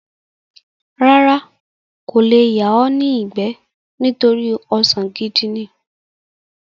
Rárá, kò le yà ọ́ ní ìgbẹ́ nítorí ọsàn gidi ní.